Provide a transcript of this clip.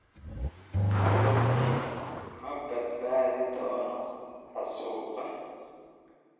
longin ma badbaadi doono xasuuqa.